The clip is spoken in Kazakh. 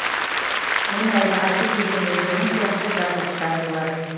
ондайды айтып жүрген өздерің сияқты жазғыштар болар